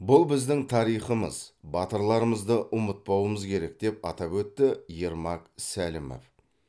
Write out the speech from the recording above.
бұл біздің тарихымыз батырларымызды ұмытпауымыз керек деп атап өтті ермак сәлімов